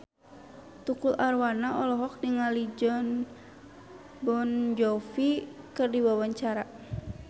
Tukul Arwana olohok ningali Jon Bon Jovi keur diwawancara